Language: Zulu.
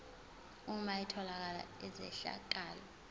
uma etholakala izehlakalo